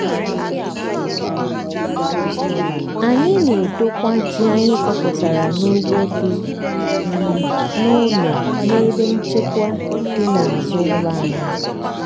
anyị na-edokwa ji anyị kọpụtara n'ugbo dị um n'ụlọ n'ebe nchekwa dị n'azụ ụlọ anyị.